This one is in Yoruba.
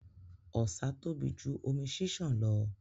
Ọ̀sà tóbi jù omi ṣiṣan lọ.